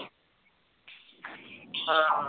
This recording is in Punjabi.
ਹਾਂ